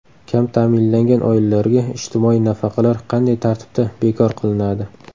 Kam ta’minlangan oilalarga ijtimoiy nafaqalar qanday tartibda bekor qilinadi?.